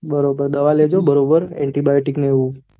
બરોબર દવા લેજો બરોબર antibiotic ને આવું